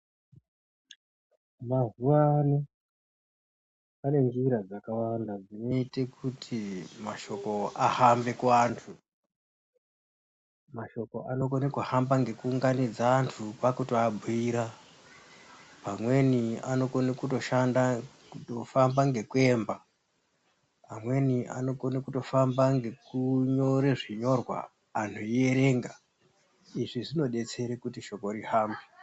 Mazuwaano pane njira dzakawanda dzinoyite kuti mashoko ahambe kuantu, mashoko anokone kuhamba ngekuunganidza antu kwakutoabhuyira, amweni anokona kutoshanda kutofamba ngekuyemba, amweni anokona kutofamba ngekunyore zvinyorwa anhu eyiyerenga, izvi zvinodetsere kuti shoko rihambe.